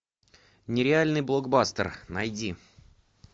нереальный блокбастер найди